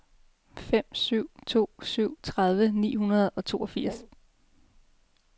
fem syv to syv tredive ni hundrede og toogfirs